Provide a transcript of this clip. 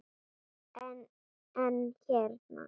En, en hérna.